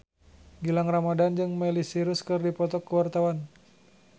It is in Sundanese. Gilang Ramadan jeung Miley Cyrus keur dipoto ku wartawan